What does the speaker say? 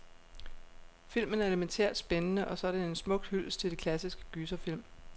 Filmen er elemæntært spændende, og så er den en smuk hyldest til de klassiske gyserfilm.